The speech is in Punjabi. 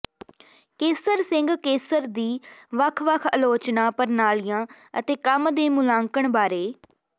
ਕੇਸਰ ਸਿੰਘ ਕੇਸਰ ਦੀ ਵੱਖ ਵੱਖ ਅਲੋਚਨਾ ਪ੍ਰਣਾਲੀਆਂ ਅਤੇ ਕੰਮ ਦੇ ਮੁਲਾਂਕਣ ਬਾਰੇ ਡਾ